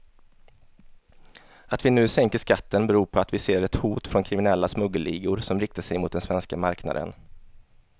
Att vi nu sänker skatten beror på att vi ser ett hot från kriminella smuggelligor som riktar sig mot den svenska marknaden.